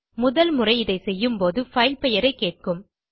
முதல் முறை இதை செய்யும் போது பைல் பெயரைக் கேட்கும்